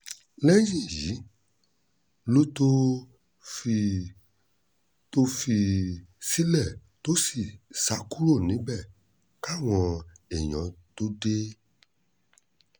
lẹ́yìn èyí ló tóó fi tóó fi í sílẹ̀ tó sì sá kúrò níbẹ̀ káwọn èèyàn tóó dé